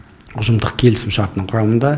ұжымдық келісімшарттың құрамында